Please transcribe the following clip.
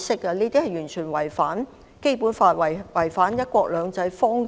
這些言論完全違反《基本法》和"一國兩制"方針。